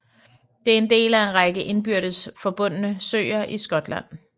Det er en del af en række indbyrdes forbundne søer i Skotland